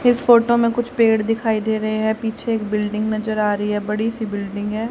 इस फोटो में कुछ पेड़ दिखाई दे रहे हैं पीछे एक बिल्डिंग नजर आ रही है बड़ी सी बिल्डिंग है।